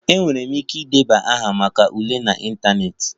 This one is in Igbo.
Enwere m ike ịdebanye aha maka ule n'ịntanetị